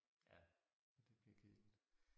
Ja det bliver kedeligt